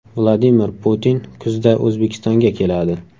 Vladimir Putin kuzda O‘zbekistonga keladi .